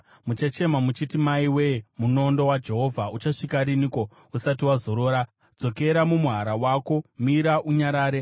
“Muchachema muchiti, ‘Maiwe, munondo waJehovha, uchapedza nguva yakadiiko usati wazorora? Dzokera mumuhara wako; mira, unyarare.’